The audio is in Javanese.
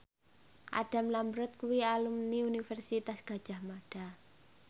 Adam Lambert kuwi alumni Universitas Gadjah Mada